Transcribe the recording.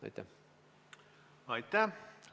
Aitäh!